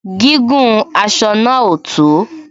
Gígùn aṣọ náà ò tó